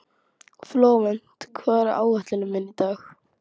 Flóvent, hvað er á áætluninni minni í dag?